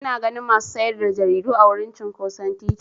Ina ganin masu sayar da jaridu a wurin cinƙoson titi.